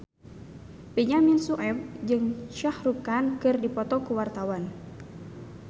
Benyamin Sueb jeung Shah Rukh Khan keur dipoto ku wartawan